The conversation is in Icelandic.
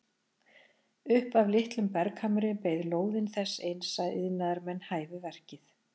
Upp af litlum berghamri beið lóðin þess eins að iðnaðarmenn hæfu verkið.